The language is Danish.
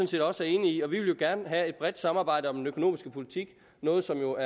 set også er enige i og vi vil jo gerne have et bredt samarbejde om den økonomiske politik noget som